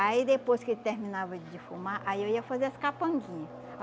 Aí depois que ele terminava de defumar, aí eu ia fazer as capanguinha.